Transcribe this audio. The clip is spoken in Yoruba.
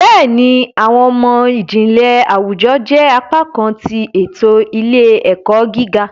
Béèni, awọn imọ-jinlẹ àwùjọ jẹ apá kan ti eto ile-ẹkọ gíga